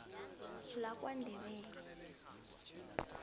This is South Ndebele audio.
lakwandebele